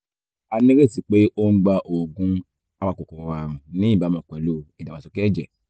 a nírètí pé ó ń gba oògùn apakòkòrò ààrùn ní ìbámu pẹ̀lú ìdàgbàsókè ẹ̀jẹ̀